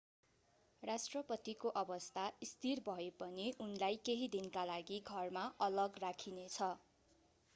राष्ट्रपतिको अवस्था स्थिर भए पनि उनलाई केही दिनका लागि घरमा अलग राखिनेछ